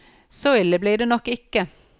Så ille blir det nok ikke.